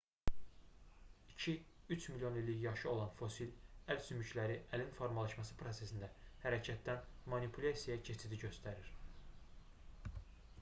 iki üç milyon illik yaşı olan fosil əl sümükləri əlin formalaşması prosesində hərəkətdən manipulyasiyaya keçidi göstərir